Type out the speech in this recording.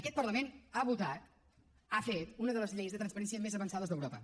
aquest parlament ha votat ha fet una de les lleis de transparència més avançades d’europa